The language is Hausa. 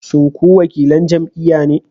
Shin ku wakilan jam'iyya ne?